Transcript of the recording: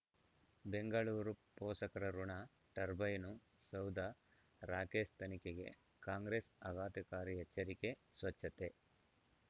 ಬೆಂಗಳೂರು ಪೋಷಕರಋಣ ಟರ್ಬೈನು ಸೌಧ ರಾಕೇಶ್ ತನಿಖೆಗೆ ಕಾಂಗ್ರೆಸ್ ಆಘಾತಕಾರಿ ಎಚ್ಚರಿಕೆ ಸ್ವಚ್ಛತೆ